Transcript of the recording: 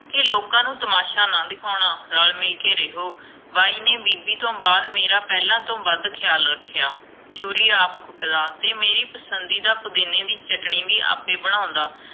ਕਿ ਲੋਕਾਂ ਨੂੰ ਤਮਾਸ਼ਾ ਨਾ ਦਿਖਾਉਣਾ, ਰਲ ਮਿਲ ਕੇ ਰਹਿਓ ਬਾਈ ਨੇ ਬੀਬੀ ਤੋਂ ਬਾਅਦ ਮੇਰਾ ਪਹਿਲਾ ਤੋਂ ਵੱਧ ਖਿਆਲ ਰੱਖਿਆ ਚੂਰੀ ਆਪ ਕੁਟਦਾ, ਤੇ ਮੇਰੀ ਪਸੰਦੀ ਦਾ ਪੁਦੀਨੇ ਦੀ ਚਟਨੀ ਵੀ ਆਪੇ ਬਣਾਉਂਦਾ